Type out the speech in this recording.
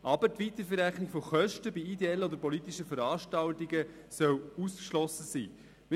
Aber die Weiterverrechnung von Kosten bei ideellen oder politischen Veranstaltungen soll ausgeschlossen sein.